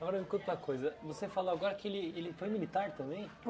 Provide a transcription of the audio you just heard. Agora, escuta uma coisa, você falou agora que ele ele foi militar também?